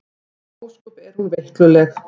Ósköp er hún veikluleg.